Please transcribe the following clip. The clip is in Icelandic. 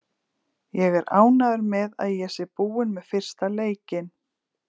Ég er ánægður með að ég sé búinn með fyrsta leikinn.